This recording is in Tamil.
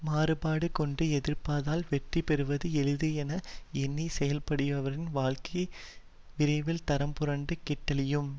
மாறுபாடு கொண்டு எதிர்ப்பதால் வெற்றி பெறுவது எளிது என எண்ணி செயல்படுபவரின் வாழ்க்கை விரைவில் தடம்புரண்டு கெட்டொழியும்